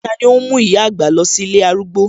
Tani óhún mú ìyá àgbà lọ sí ilé arúgbó?